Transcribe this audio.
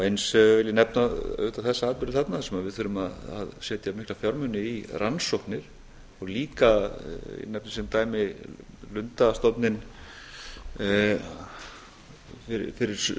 eins vil ég nefna auðvitað þessa atburði þarna sem við þurfum að setja mikla fjármuni í rannsóknir og líka nefni ég sem dæmi lundastofninn fyrir